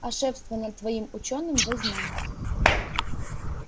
а шефство над твоим учёным возьмём